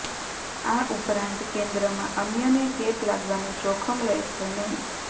આ ઉપરાંત કેન્દ્રમાં અન્યને ચેપ લાગવાનું જોખમ રહેશે નહીં